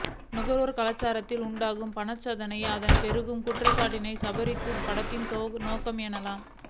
நுகர்வுக் கலாச்சாரத்தால் உண்டாகும் பணத்தாசையையும் அதனால் பெருகும் குற்றங்களையும் சித்தரிப்பதுதான் படத்தின் நோக்கம் எனலாம்